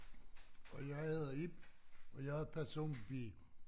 Og jeg hedder Ib og jeg er person B